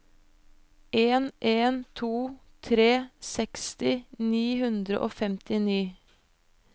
en en to tre seksti ni hundre og femtini